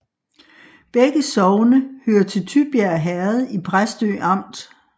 Begge sogne hørte til Tybjerg Herred i Præstø Amt